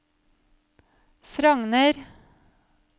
Frogner